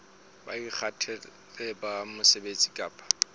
bo ikgethang ba mosebetsi kapa